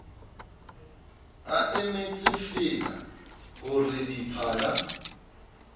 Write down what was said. a emetsefeela ho re diphala